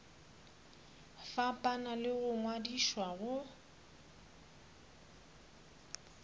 fapana le go ngwadišwa go